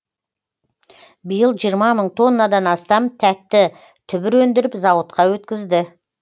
биыл жиырма мың тоннадан астам тәтті түбір өндіріп зауытқа өткізді